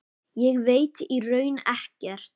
Ég veit í raun ekkert.